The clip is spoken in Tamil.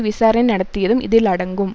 விசாரணை நடத்தியதும் இதில் அடங்கும்